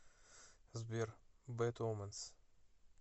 сбер бэд оменс